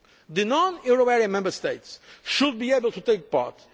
The non euro area Member States should be able to take part.